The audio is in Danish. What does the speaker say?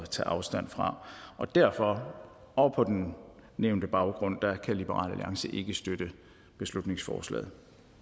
at tage afstand fra og derfor og på den nævnte baggrund kan liberal alliance ikke støtte beslutningsforslaget